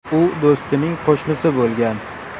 U do‘stining qo‘shnisi bo‘lgan.